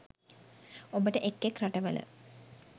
ඔබට එක් එක් රටවල